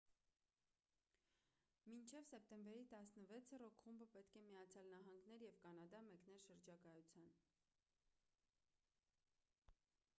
մինչև սեպտեմբերի 16-ը ռոք խումբը պետք է միացյալ նահանգներ և կանադա մեկներ շրջագայության